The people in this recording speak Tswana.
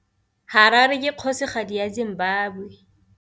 Harare ke kgosigadi ya Zimbabwe.